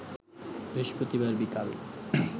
বৃহস্পতিবার বিকাল